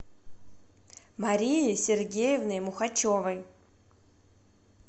марией сергеевной мухачевой